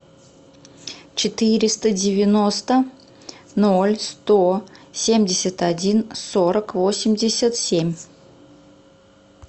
четыреста девяносто ноль сто семьдесят один сорок восемьдесят семь